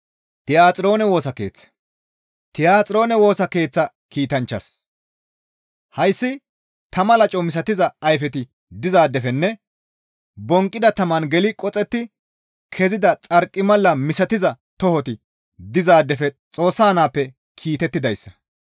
«Tiyaxiroone Woosa Keeththa kiitanchchaas: hayssi tama laco misatiza ayfeti dizaadefenne bonqqida taman geli qoxetti kezida xarqimala misatiza tohoti dizaadefe Xoossa naappe kiitettidayssa.